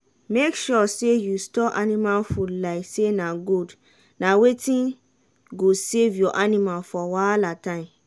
make sure say you store anima food like say na gold na wetin go save your anima for wahala time.